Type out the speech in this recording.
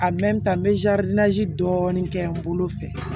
n bɛ dɔɔnin kɛ n bolo fɛ